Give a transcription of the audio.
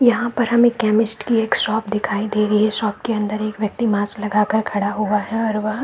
यहाँ पर हमें केमिस्ट की एक शॉप दिखाई दे रही है शॉप के अंदर एक व्यक्ति मास्क लगा कर खड़ा हुआ है और वह --